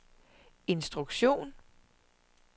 instruktion